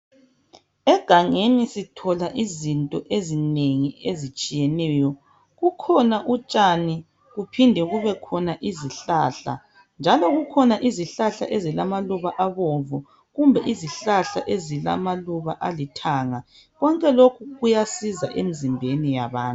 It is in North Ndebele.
Egangeni sithola izinto ezinengi ezitshiyeneyo. Kukhona utshani kuphinde kubekhona izihlahla njalo kukhona izihlahla ezilamaluba abomvu kumbe izihlahla ezilamaluba alithanga. Konke loku uyasiza emizimbeni yabantu.